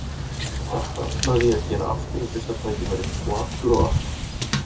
Þetta ætlaði ég að gera aftur við fyrsta tækifæri- og aftur og aftur!